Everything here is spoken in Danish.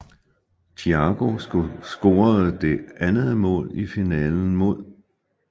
Thiago scorede det andet mål i finalen mod